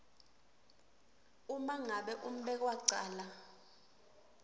uma ngabe umbekwacala